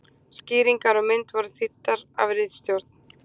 skýringar á mynd voru þýddar af ritstjórn